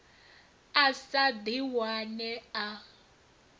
a sa ḓi wane a